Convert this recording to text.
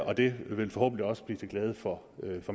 og det vil forhåbentlig også blive til glæde for